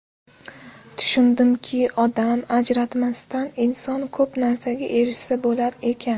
Tushundimki, odam ajratmasdan inson ko‘p narsaga erishsa bo‘lar ekan.